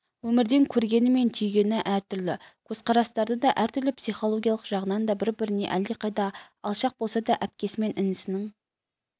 өмірден көргені мен түйгені әртүрлі көзқарастары да әртүрлі психологиялық жағынан да бір-біріне әлдеқайда алшақ болса да әпкесі мен інісінің